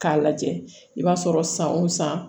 K'a lajɛ i b'a sɔrɔ san o san